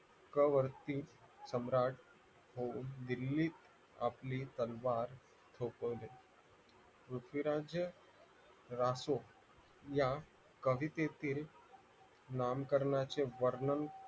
कवरती सम्राट होऊन आपली तलवार सोपवली पृथ्वीराज राहो या कवितेतील नामकरणाचे वर्णन